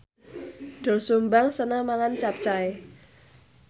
Doel Sumbang seneng mangan capcay